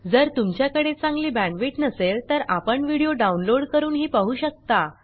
जर तुमच्याकडे चांगली बॅण्डविड्थ नसेल तर आपण व्हिडिओ डाउनलोड करूनही पाहू शकता